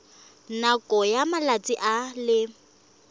nakong ya malatsi a le